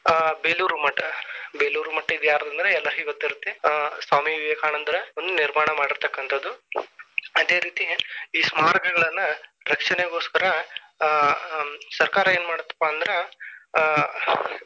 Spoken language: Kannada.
ಬೇಲೂರು ಮಠ ಬೇಲೂರಮಠ ಇದ ಯಾರಾದ ಅಂದ್ರ ಎಲ್ಲಾರಿಗೂ ಗೊತ್ತಿರುತ್ತೆ ಆ ಸ್ವಾಮಿ ವಿವೇಕಾನಂದರ ನಿರ್ಮಾಣ ಮಾಡಿರತಕ್ಕಂತದು ಅದೇ ರೀತಿ ಈ ಸ್ಮಾರಕಗಳನ್ನ ರಕ್ಷಣೆಗೋಸ್ಕರ ಆಹ್ ಹ್ಮ್‌ ಸರ್ಕಾರ ಏನ್ ಮಾಡತಪ್ಪ ಅಂದ್ರ.